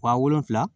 Wa wolonfila